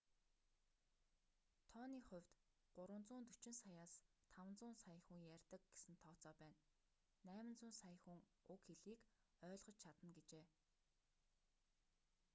тооны хувьд 340 саяас 500 сая хүн ярьдаг гэсэн тооцоо байна 800 сая хүн уг хэлийг ойлгож чадна гэжээ